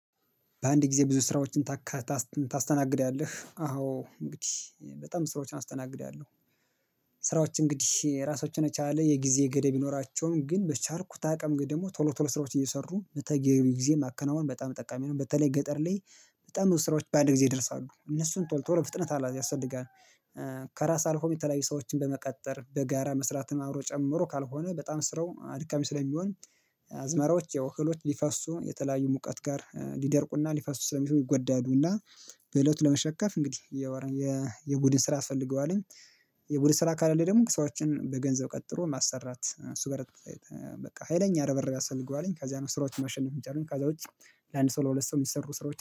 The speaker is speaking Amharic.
በአንድ ጊዜ ብዙ ስራዎችን ታካታስትን ታስተናግዳለህ አዎ እንግዲህ በጣም ስራዎችን አስተናግዳለሁ ስራዎች እንግዲህ ራሳቸውን የቻለ የጊዜ ገደብ ቢኖራቸውም ግን በቻልኩት አቅም ወይ ደግሞ ቶሎ ቶሎ ስራዎች እየሰሩ በተገቢ ጊዜ ማከናወን በጣም ጠቃሚ ነው በተለይ ገጠር ላይ በጣም ብዙ ስራዎች በአንድ ጊዜ ይደርሳሉ እነሱን ቶሎ ቶሎ ፍጥነት አለዝ ያስፈልጋል። ከራስ አልፎም የተለያየ ሰዎችን በመቀጠር በጋራ መስራትን አብሮ ጨምሮ ካልሆነ በጣም ስራው አድካሚ ስለሚሆን። አዝመራዎች ያው እህሎች ሊፈርሱ የተለያዩ ሙቀት ጋር ሊደርቁና ሊፈሱ ስለሚሉ ይጎዳሉና። በእለቱ ለመሸከፍ እንግዲህ የወረየ የቡድን ስራ ያስፈልገውአልኝ። የቡድን ስራ ከሌለ ደግሞ ሰዎችን በገንዘብ ቀጥሮ ማሰራት እሱ ጋር በቃ ሀይለኛ ርብርብ ያሰፈልገዋልኝ ከዚያ ነው። ስራዎችን ማሸነፍ የሚቻለኝ ከዛ ውጪ። ለአንድ ሰው ለሁለት ሰው የሚሰሩ ስራዎች